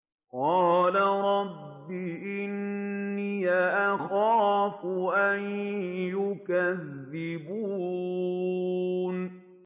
قَالَ رَبِّ إِنِّي أَخَافُ أَن يُكَذِّبُونِ